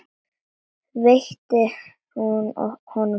Veitti hún honum falskt öryggi?